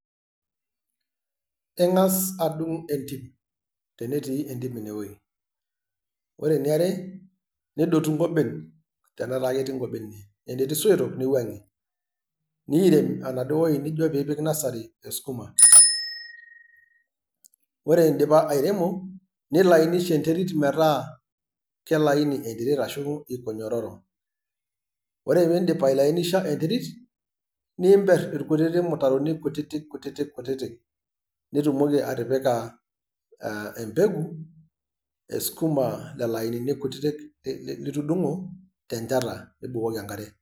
Eng'as adung entim, tenetii entim ine wei, ore eniare, nidotu inkoben tenetaa ketii inkoben inewei, tenetii isoito, niwang'ie, nekirem enaduo weji nijo pekipik nursery esukuma. Ore indipa airemo, nilainisha enterit metaa kila aini ogira aitasho, iko nyororo ore piindip ailainisha enterit, nimber ilkutiti mutaroni kutiti kutiti kutiti, nitumoki atipika embegu esukuma lelo ainini kutiti litundung'o tencheta nibukoki enkare.